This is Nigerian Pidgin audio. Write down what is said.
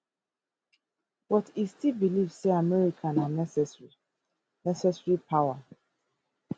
but e still believe say america na necessary necessary power